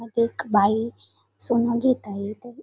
मध्ये एक बाई सोनं घेत आहे.